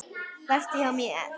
Vertu hjá mér.